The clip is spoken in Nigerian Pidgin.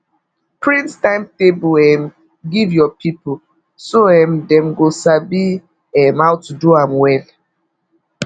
print timetable um give your people so um dem go sabi um how to do am well